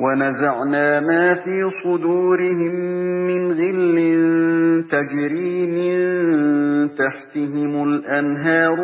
وَنَزَعْنَا مَا فِي صُدُورِهِم مِّنْ غِلٍّ تَجْرِي مِن تَحْتِهِمُ الْأَنْهَارُ ۖ